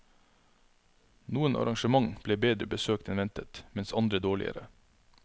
Noen arrangement ble bedre besøkt enn ventet, mens andre dårligere.